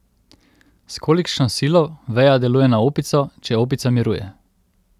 S kolikšno silo veja deluje na opico, če opica miruje?